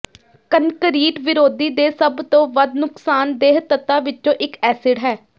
concrete ਵਿਰੋਧੀ ਦੇ ਸਭ ਤੋਂ ਵੱਧ ਨੁਕਸਾਨਦੇਹ ਤੱਤਾਂ ਵਿੱਚੋਂ ਇੱਕ ਐਸਿਡ ਹੈ